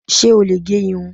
Ṣé ò lè gẹ irun?